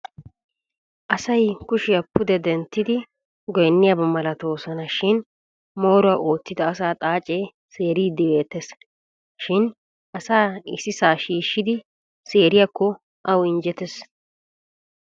Asay kushiya pude denttidi gonniyaba malatoosona shin mooruwa oottida asata xaacee seeriiddi beettes. Shin asaa issisaa shiishshidi seeriyakko awu injjetes.